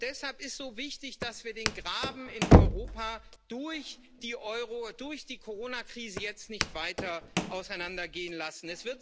Deshalb ist so wichtig, dass wir den Graben in Europa durch die Corona Krise jetzt nicht weiter auseinandergehen lassen.